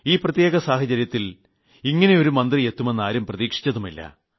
ഈ പ്രത്യേക സാഹചര്യത്തിൽ ഇങ്ങനെയൊരു മന്ത്രി എത്തുമെന്നാരും പ്രതീക്ഷിച്ചതുമില്ല